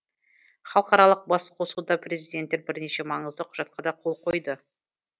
халықаралық басқосуда президенттер бірнеше маңызды құжатқа да қол қойды